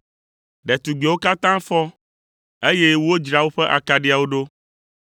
“Ɖetugbiawo katã fɔ, eye wodzra woƒe akaɖiawo ɖo.